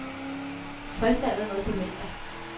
Frist er allerede på fredag.